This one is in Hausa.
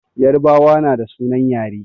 Yarbawa na da sunan yare